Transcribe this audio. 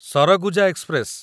Surguja express